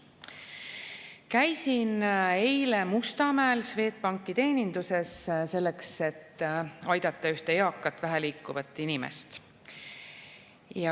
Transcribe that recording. Käisin eile Mustamäel Swedbanki teeninduses, selleks et aidata ühte eakat väheliikuvat inimest.